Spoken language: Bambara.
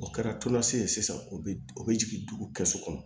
O kɛra tulola se ye sisan o be o be jigin dugu kɛsu kɔnɔ